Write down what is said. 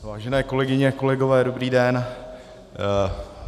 Vážené kolegyně, kolegové, dobrý den.